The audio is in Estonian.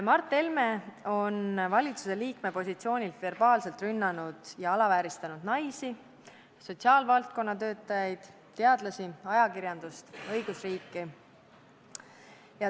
Mart Helme on valitsusliikme positsioonilt verbaalselt rünnanud ja alavääristanud naisi, sotsiaalvaldkonna töötajaid, teadlasi, ajakirjandust, õigusriiki.